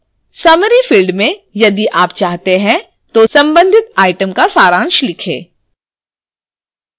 summary field में यदि आप चाहते हैं तो संबंधित item का सारांश लिखें